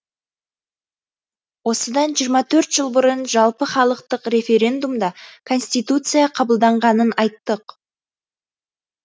осыдан жиырма төрт жыл бұрын жалпыхалықтық референдумда конституция қабылданғанын айттық